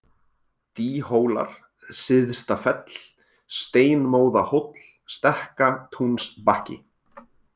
Dýhólar, Syðstafell, Steinmóðahóll, Stekkatúnsbakki